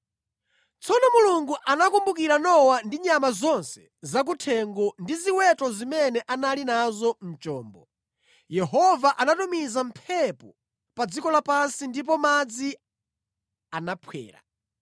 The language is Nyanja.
Tsono Mulungu anakumbukira Nowa ndi nyama zonse zakuthengo ndi ziweto zimene anali nazo mu chombo. Yehova anatumiza mphepo pa dziko lapansi ndipo madzi anaphwera.